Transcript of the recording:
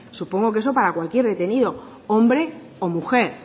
supongo que eso para cualquier detenido hombre o mujer